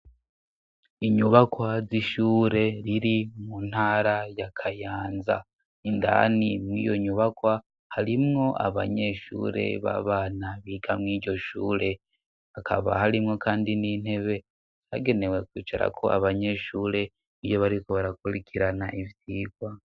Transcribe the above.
Inyubakwa z'ishure riri mu ntara ya Kayanza. Indani mw' iyo nyubakwa harimwo abanyeshure b'abana biga mw' iiryo shure. Hakaba harimwo kandi n'intebe zagenewe kwicarako abanyeshure iyo bariko barakurikirana ivyigwa.